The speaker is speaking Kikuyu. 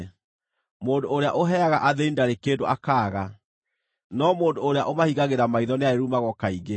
Mũndũ ũrĩa ũheaga athĩĩni ndarĩ kĩndũ akaaga, no mũndũ ũrĩa ũmahingagĩra maitho nĩarĩĩrumagwo kaingĩ.